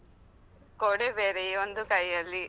ಕೊಡೆ ಬೇರೆ ಒಂದು ಕೈಯಲ್ಲಿ.